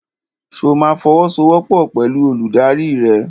Ṣo ma fọwọ́sowọ́pọ̀ pẹ̀lú olùdarí rẹ?